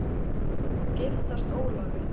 Hödd: Og giftast Ólafi?